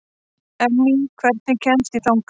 Emý, hvernig kemst ég þangað?